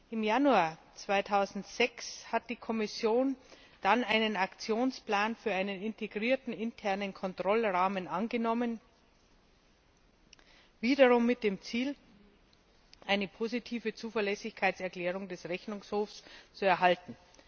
Im Januar 2006 hat die Kommission dann einen Aktionsplan für einen integrierten internen Kontrollrahmen angenommen, wiederum mit dem Ziel, eine positive Zuverlässigkeitserklärung des Rechnungshofs zu erhalten.